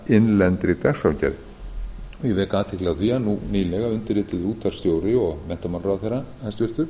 sinna innlendri dagskrárgerð ég vek athygli á því að nú nýlega undirrituðu útvarpsstjóri og menntamálaráðherra hæstvirtur